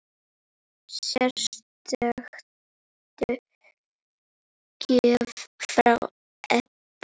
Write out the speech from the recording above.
Sérstök gjöf frá Ebba.